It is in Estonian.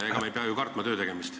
Ega me ei pea ju kartma töötegemist.